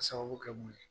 A sababu kɛ mun ye